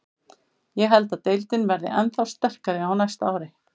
Ég held að deildin verði ennþá sterkari á næsta ári.